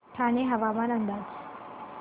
ठाणे हवामान अंदाज